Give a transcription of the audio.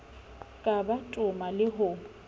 ka ba toma le ho